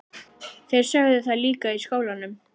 Þeir sögðu það líka í skólanum.